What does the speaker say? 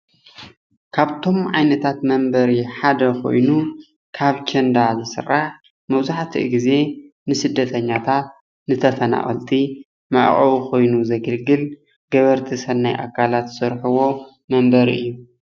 ካብቶም ዓይነታታት መንበሪ ሓደ ኾይኑ ካብ ኬንዳ ዝስራሕ መብዛሕትኡ ግዜ ነስደተኛታታት ፤ንተፈናቀልቲ መዕቆቢ ኾይኑ ዘገልግል ገበርቲ ሰናይ ኣካላት ዝሰርሕዎ መንበሪ እዪ።